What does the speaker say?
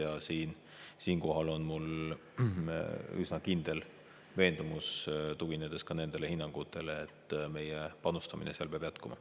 Aga siinkohal on mul üsna kindel veendumus, tuginedes nende hinnangutele, et meie panustamine seal peab jätkuma.